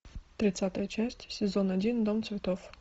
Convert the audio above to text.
тридцатая часть сезон один дом цветов